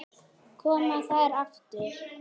Koma þær aftur?